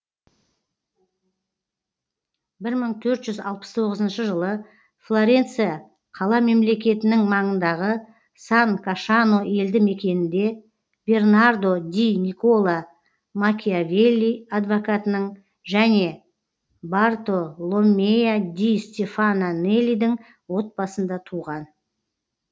бір мың төрт жүз алпыс тоғызыншы жылы флоренция қала мемлекетінің маңындағы сан кашано елді мекенінде бернардо ди никколо макиавелли адвокатының және бартоломмея ди стефано нелидің отбасында туған